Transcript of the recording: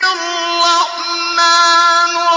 الرَّحْمَٰنُ